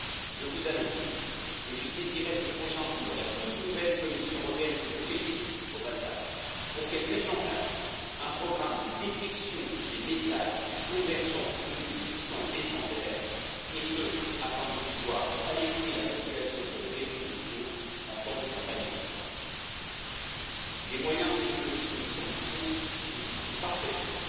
Je vous annonce que je saisirai ces prochains jours la toute nouvelle Commission européenne que je félicite pour qu'elle mette en place un programme de détection des messages convergents venus des puissances étrangères, et ce pour alerter la population sur les réseaux sociaux en temps de campagne électorale. Les moyens technologiques de cette ambition existent parfaitement,